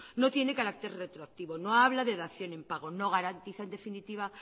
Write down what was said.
no tiene carácter retroactivo no habla de dación en pago no garantiza en definitiva